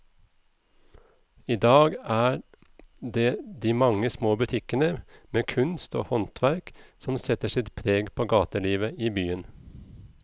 I dag er det de mange små butikkene med kunst og håndverk som setter sitt preg på gatelivet i byen.